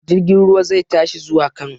Jirgin ruwa zai tashi zuwa Kano.